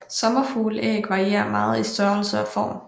Sommerfugleæg varierer meget i størrelse og form